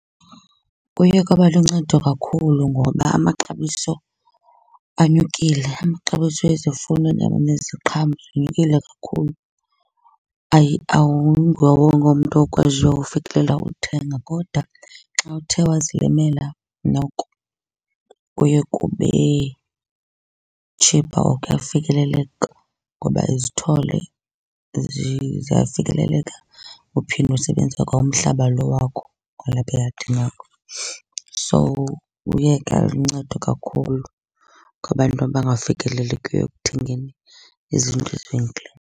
Kuye kwaba luncedo kakhulu ngoba amaxabiso anyukile. Amaxabiso ezifuno neziqhamo zinyukile kakhulu, awunguwo wonke umntu okwaziyo ufikelela uthenga. Kodwa xa uthe wazilimela noko kuye kube cheaper or kuyafikeleleka ngoba izithole ziyafikeleleka, uphinde usebenzise kwa umhlaba lo wakho kwalapha eyadini yakho. So kuye kwaluncedo kakhulu kwabantu abangafikelelekiyo ekuthengeni izinto ezivenkileni.